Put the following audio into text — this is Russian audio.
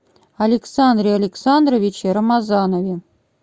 александре александровиче рамазанове